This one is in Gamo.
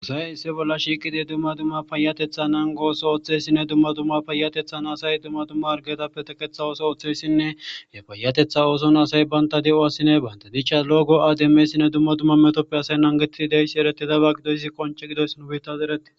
Usay issi bolla shiiqidi dumma dumma payatethan angooso oththesinne dumma dumma payatethan asay dumma dumma argetappe teketha ooso oththessinne ye fayatetha ooson asay baynta de'o asine bante dicha lo'o go'ademmessinne dumma dumma metoppe asay nangetidi deyssi eretidaba gidoyssi qonci gidoys nu biittas eretti